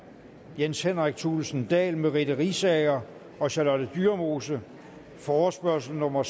jens henrik thulesen dahl merete riisager og charlotte dyremose forespørgsel nummer